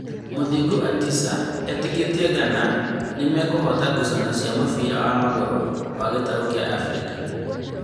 Mũthingu Atisa e-tĩkĩĩtie Ngana nĩ mekũhoota ngucanio cia mũbira wa magũrũ wa gĩtarũ kia Afirika.